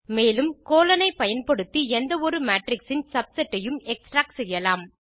மேலும் கோலோன் ஐப்பயன்படுத்தி எந்த ஒரு மேட்ரிக்ஸ் இன் சப்செட் ஐயும் எக்ஸ்ட்ராக்ட் செய்யலாம்